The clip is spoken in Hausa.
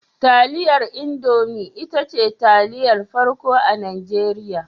Taliyar Indomi ita ce taliyar farko a Najeriya.